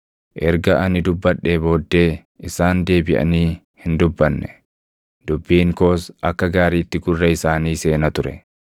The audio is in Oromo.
Erga ani dubbadhee booddee isaan deebiʼanii hin dubbanne; dubbiin koos akka gaariitti gurra isaanii seena ture.